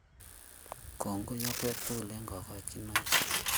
Kongoi tugul eng Kokochinoik